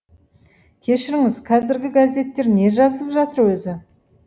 кешіріңіз қазіргі газеттер не жазып жатыр өзі